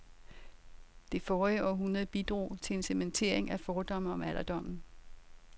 Det forrige århundrede bidrog til en cementering af fordomme om alderdommen.